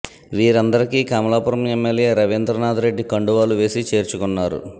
వీరందరికీ కమలాపురం ఎమ్మెల్యే రవీంద్రనాథ్రెడ్డి కండువాలు వేసి చేర్చుకొన్నారు